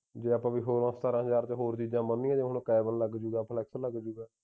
ਜੇ ਆਪਾਂ ਸੋਲਾਂ ਸਤਾਰਾਂ ਹਜ਼ਾਰ ਰੁਪਈਆ ਹੋਰ ਚੀਜ਼ਾਂ ਬਣਦੀਆਂ ਉਣ ਕਾਵਲ ਲੱਗ ਜਾਊਗਾ ਆਪਣਾ flush ਤੇ ਲੱਗ ਜਾਊਗਾ